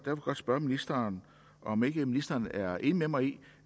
jeg godt spørge ministeren om ikke ministeren er enig med mig i